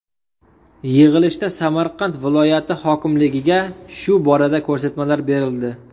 Yig‘ilishda Samarqand viloyati hokimligiga shu borada ko‘rsatmalar berildi.